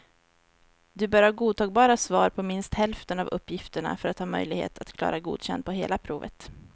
Du bör ha godtagbara svar på minst hälften av uppgifterna för att ha möjlighet att klara godkänd på hela provet.